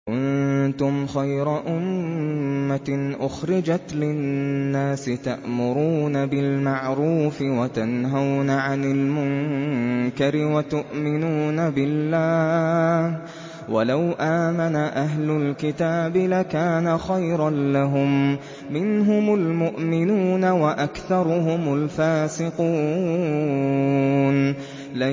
كُنتُمْ خَيْرَ أُمَّةٍ أُخْرِجَتْ لِلنَّاسِ تَأْمُرُونَ بِالْمَعْرُوفِ وَتَنْهَوْنَ عَنِ الْمُنكَرِ وَتُؤْمِنُونَ بِاللَّهِ ۗ وَلَوْ آمَنَ أَهْلُ الْكِتَابِ لَكَانَ خَيْرًا لَّهُم ۚ مِّنْهُمُ الْمُؤْمِنُونَ وَأَكْثَرُهُمُ الْفَاسِقُونَ